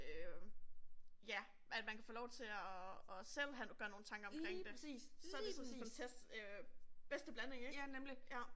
Øh ja, at man kan få lov til at at selv have gøre sig nogle tanker omkring det så det sådan bedste blanding ikke